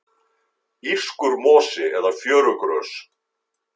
írskur mosi eða fjörugrös